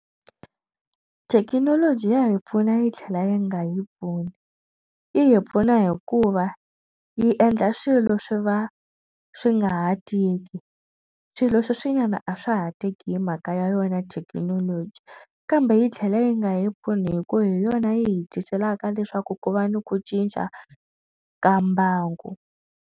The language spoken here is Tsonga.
Thekinoloji ya hi pfuna yi tlhela yi nga yi pfuni yi hi pfuna hikuva yi endla swilo swi va swi ngaha tiki swilo leswi nyana a swa ha teki hi mhaka ya yona thekinoloji kambe yi tlhela yi nga yi pfuni hi ku hi yona yi hi tiselaka leswaku ku va ni ku cinca ka mbangu.